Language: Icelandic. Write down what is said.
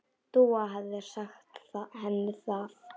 Dúa hefði sagt henni það.